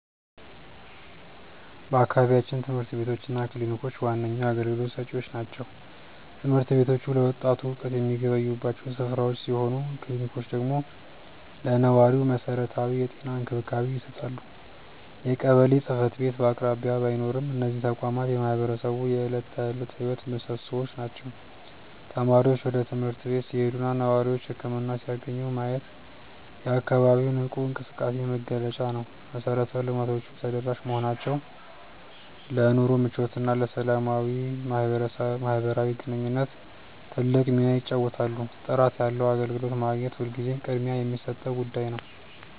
በአካባቢያችን ትምህርት ቤቶች እና ክሊኒኮች ዋነኛ አገልግሎት ሰጪዎች ናቸው። ትምህርት ቤቶቹ ለወጣቱ እውቀት የሚገበዩባቸው ስፍራዎች ሲሆኑ፣ ክሊኒኮቹ ደግሞ ለነዋሪው መሰረታዊ የጤና እንክብካቤ ይሰጣሉ። የቀበሌ ጽሕፈት ቤት በአቅራቢያ ባይኖርም፣ እነዚህ ተቋማት የማህበረሰቡ የዕለት ተዕለት ሕይወት ምሶሶዎች ናቸው። ተማሪዎች ወደ ትምህርት ቤት ሲሄዱና ነዋሪዎች ህክምና ሲያገኙ ማየት የአካባቢው ንቁ እንቅስቃሴ መገለጫ ነው። መሰረተ ልማቶቹ ተደራሽ መሆናቸው ለኑሮ ምቾትና ለሰላማዊ ማህበራዊ ግንኙነት ትልቅ ሚና ይጫወታሉ። ጥራት ያለው አገልግሎት ማግኘት ሁልጊዜም ቅድሚያ የሚሰጠው ጉዳይ ነው።